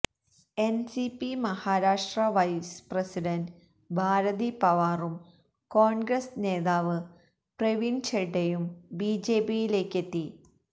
NCP Maharashtra vice president Bharati പവാറും കോൺഗ്രസ് നേതാവ് പ്രവീൺ െഛഡയും ബിജെപിയിലേക്കെത്തി